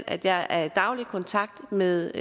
af at jeg er i daglig kontakt med